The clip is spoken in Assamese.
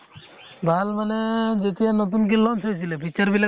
ভাল মানে যেতিয়া নতুনকে launch হৈছিলে, feature বিলাক